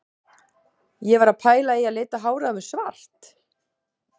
Ég var að pæla í að lita hárið á mér svart?